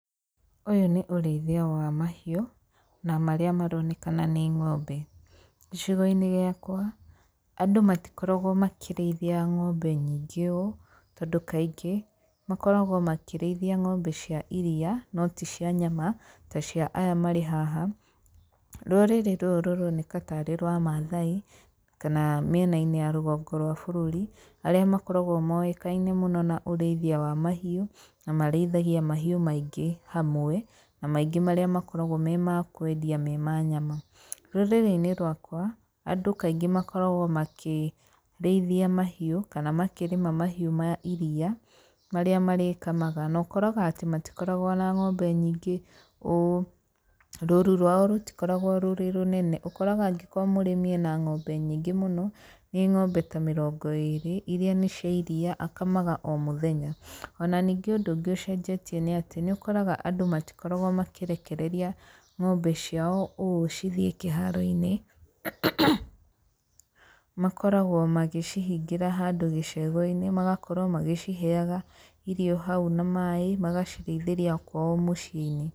Ũyũ nĩ ũrĩithia wa mahiũ, na marĩa maronekana nĩ ng'ombe. Gicigo-inĩ gĩakwa andũ matikoragwo makĩrĩithia ng'ombe nyingĩ ũũ, tondũ kaingĩ, makoragwo makĩrĩithia ng'ombe cia iriia no ti cia nyama ta cia aya marĩ haha. Rũrĩrĩ rũrũ rũroneka tarĩ rwa mathai, kana mĩenainĩ ya rũgongo rwa bũrũri, arĩa makoragwo moĩkaine mũno na ũrĩithia wa mahiũ, na marĩithagia mahiũ maingĩ hamwe na maingĩ marĩa makoragwo me makwendia me ma nyama. Rũrĩrĩ-inĩ rwakwa, andũ kaingĩ makoragwo makĩrĩithia mahiũ, kana makĩrĩma mahiũ ma iriia marĩa marĩkamaga, na ũkoraga atĩ matikoragwo na ng'ombe nyingĩ ũũ, rũru rwao rũtikoragwo rwĩ rũnene, ũkoraga angĩkorwo mũrĩmi ena ng'ombe nyingĩ mũno, nĩ ng'ombe ta mĩrongo ĩrĩ, iria nĩ cia iriia, akamaga o mũthenya. Ona ningĩ ũndũ ũngĩ ũcenjetie nĩ atĩ, nĩũkoraga andũ matikoragwo makĩrekereria ng'ombe ciao ũũ cithiĩ kĩharo-inĩ makoragwo maĩcihingĩra handũ gĩcegũ-inĩ, magakorwo magĩciheaga irio hau na maĩ, magacirĩithĩria kwao mũciĩ-inĩ.